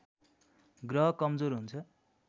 ग्रह कमजोर हुन्छ